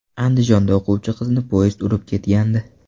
Andijonda o‘quvchi qizni poyezd urib ketgandi.